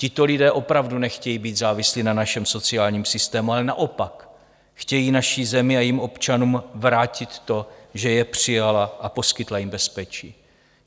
Tito lidé opravdu nechtějí být závislí na našem sociálním systému, ale naopak chtějí naší zemi a jejím občanům vrátit to, že je přijala a poskytla jim bezpečí.